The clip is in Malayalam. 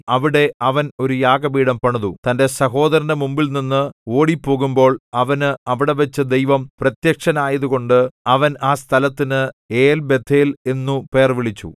അവിടെ അവൻ ഒരു യാഗപീഠം പണിതു തന്റെ സഹോദരന്റെ മുമ്പിൽനിന്ന് ഓടിപ്പോകുമ്പോൾ അവന് അവിടെവച്ചു ദൈവം പ്രത്യക്ഷനായതുകൊണ്ട് അവൻ ആ സ്ഥലത്തിന് ഏൽബേഥേൽ എന്നു പേർവിളിച്ചു